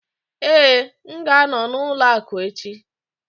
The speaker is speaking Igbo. Ee, m ga-anọ n'ụlọ akụ echi